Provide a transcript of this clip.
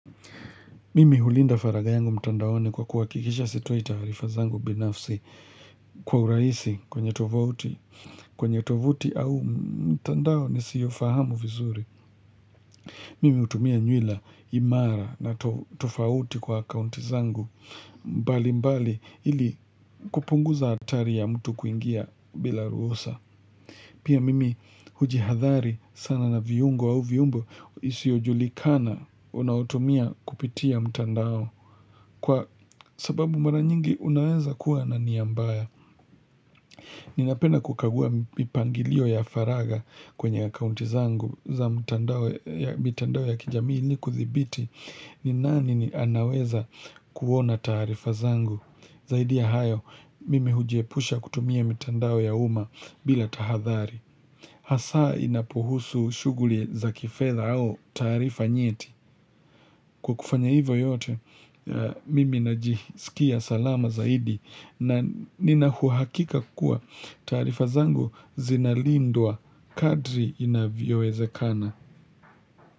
Mimi hulinda faragha yangu mtandaoni kwa kuhakikisha sitoi taarifa zangu binafsi kwa urahisi kwenye tovuti kwenye tovuti au mtandao nisiyofahamu vizuri. Mimi hutumia nywila imara na tofauti kwa akaunti zangu mbalimbali ili kupunguza hatari ya mtu kuingia bila ruhusa. Pia mimi hujihathari sana na viungo au viungo isiyojulikana unaotumia kupitia mtandao. Kwa sababu mara nyingi unaweza kuwa na nia mbaya. Ninapenda kukagua mipangilio ya faragha kwenye akaunti zangu za mitandao ya kijamii ili kuthibiti ni nani anaweza kuona taarifa zangu. Zaidi ya hayo mimi hujiepusha kutumia mitandao ya umma bila tahadhari. Hasa inapohusu shughuli za kifedha au taarifa nyeti. Kwa kufanya hivyo yote, mimi najisikia salama zaidi na nina uhakika kuwa taarifa zangu zinalindwa kadri inavyowezekana.